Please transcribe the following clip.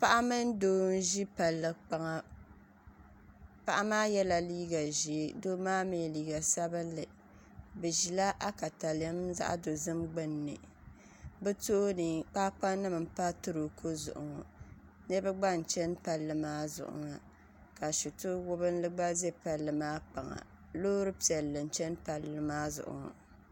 Paɣa mini doo n ʒi palli kpaŋa paɣa maa yɛla liiga ʒiɛ doo maa mii liiga sabinli bi ʒila akalɛm zaɣ dozim gbunni bi tooni kpaakpa nim n pa toroko zuɣu ŋo niraba gba n chɛni palli maa zuɣu maa ka shito wubinli gba ʒɛ palli maa kpaŋa loori piɛlli n chɛni palli maa zuɣu ŋo